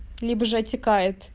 либо же оттекает